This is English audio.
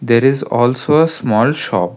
There is also a small shop.